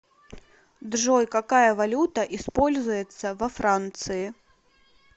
джой какая валюта используется во франции